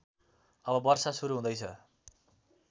अब वर्षा सुरु हुँदैछ